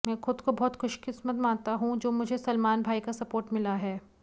मैं खुद को बहुत ख़ुशंकिस्मत मानता हूं जो मुझे सलमान भाई का सपोर्ट मिला है